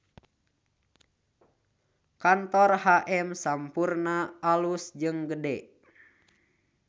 Kantor HM Sampoerna alus jeung gede